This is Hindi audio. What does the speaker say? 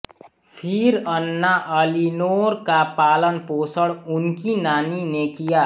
फिर अन्ना एलीनोर का पालनपोषण उनकी नानी ने किया